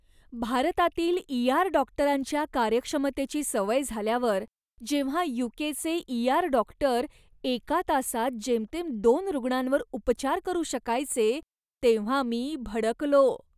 भारतातील ई.आर. डॉक्टरांच्या कार्यक्षमतेची सवय झाल्यावर, जेव्हा यू.के. चे ई.आर. डॉक्टर एका तासात जेमतेम दोन रुग्णांवर उपचार करू शकायचे, तेव्हा मी भडकलो.